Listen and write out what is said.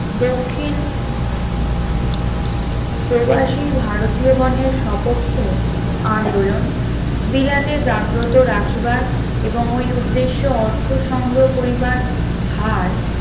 দক্ষিণ প্রবাসী ভারতীয় গণের স্বপক্ষে আন্দোলন বিলাতে জাগ্রত রাখিবার এবং ওই উদ্দেশ্যে অর্থ সংগ্রহ করিবার ভার